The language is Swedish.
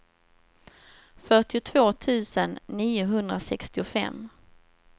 fyrtiotvå tusen niohundrasextiofem